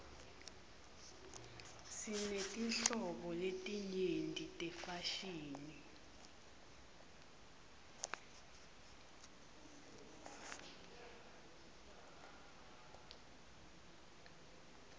sinetinhlobo letenyeti tefashini